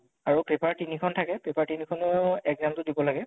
আৰু paper তিনিখন থাকে, paper তিনিখনো exam টো দিব লাগে